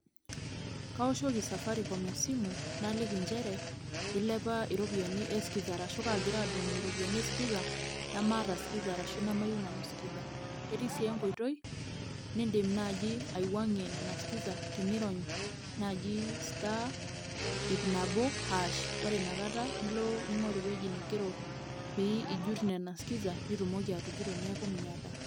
Kaoshoki safaricom esimu naliki injere, ilepa iropiyiani eskiza arashu kaagira adung' iropiyiani eskiza namaata skiza arashu namayiou nanu skiza. Etii sii enkoitoi niidim naaji aiwuangie nena skiza, tenirony naaji star iip nabo aash, ore inakata nilo ninkoro ewoji nigero nena skiza pee itumoki atujuto neeku miata.